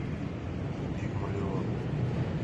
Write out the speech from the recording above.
пигмалион